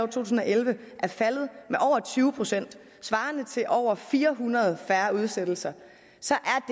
tusind og elleve er faldet med over tyve procent svarende til over fire hundrede færre udsættelser så